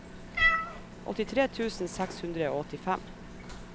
åttitre tusen seks hundre og åttifem